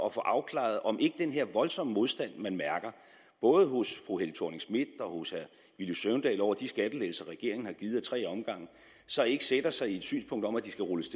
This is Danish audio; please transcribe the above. at få afklaret om ikke den her voldsomme modstand man mærker både hos fru helle thorning schmidt og hos herre villy søvndal over de skattelettelser regeringen har givet a tre omgange så ikke sætter sig i et synspunkt om at de skal rulles